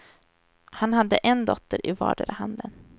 Han hade en dotter i vardera handen.